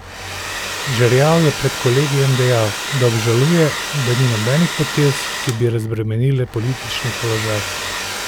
Žerjav je pred kolegijem dejal, da obžaluje, da ni nobenih potez, ki bi razbremenile politični položaj.